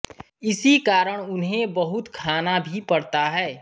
इसी कारण उन्हें बहुत खाना भी पड़ता है